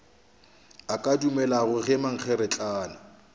a ka dumelago ge mankgeretlana